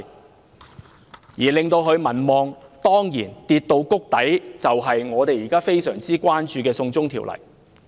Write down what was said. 當然，令其民望跌至谷底的正是我們現時非常關注的"送中條例"。